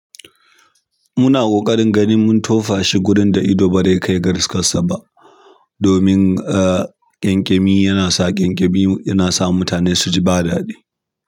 Muna ƙoƙarin ganin mun tofa shi gudun da ido barai kai ga riskan saba. Domin, ah, ƙyanƙyami yana sa ƙyanƙyami yana sa mutane su ji ba daɗi.